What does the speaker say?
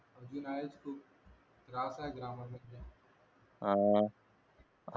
अजून आहेच खूप त्रास ग्रामर म्हणजे